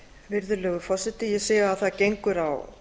virðulegur forseti ég sé að það gengur á